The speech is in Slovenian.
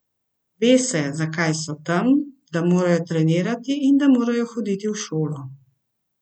Ve se, zakaj so tam, da morajo trenirati in da morajo hoditi v šolo.